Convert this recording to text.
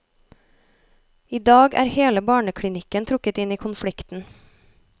I dag er hele barneklinikken trukket inn i konflikten.